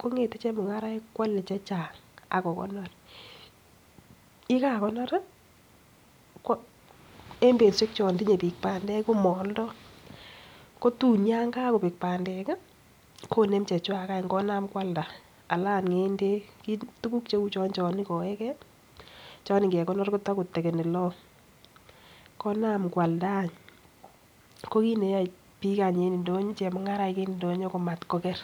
kong'ete chemung'araek koale chechang ak kokonor, ye kakonor ko en betushek chon tinye biik bandek komooldo kotun yon kogobek bandek koenm chechwak any konyokoalda anan agot ng'endek, tuguk cheu chon chon igoe ge chon ingekonor kotokotekeni long konam koalda any ko kit neyoe biik any en ndonyo chemung'araik en ndonyo komatkoker.